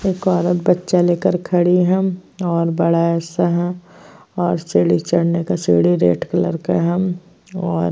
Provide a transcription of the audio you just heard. एक औरत बच्चा लेकर खड़ी हैम और बड़ा सा है और सीढ़ी चढ़ने का सीढ़ी रेड कलर का हैम और --